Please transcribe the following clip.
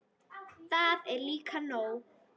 Það er líka nóg.